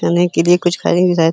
चने के लिए कुछ --